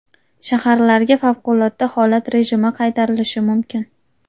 Shaharlarga favqulodda holat rejimi qaytarilishi mumkin.